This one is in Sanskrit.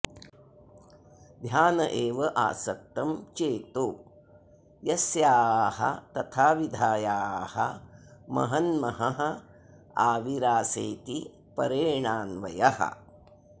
ध्यान एव आसक्तं चेतो यस्यास्तथाविधायाः महन्महः आविरासेति परेणान्वयः